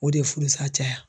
O de ye furusa caya